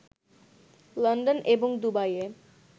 London এবং দুবাইয়ে